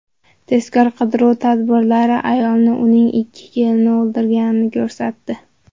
Tezkor-qidiruv tadbirlari ayolni uning ikki kelini o‘ldirganini ko‘rsatdi.